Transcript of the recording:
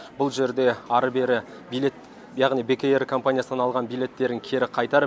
бұл жерде ары бері билет яғни бек эйр компаниясынан алған билеттерін кері қайтарып